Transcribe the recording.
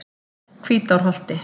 Hvítárholti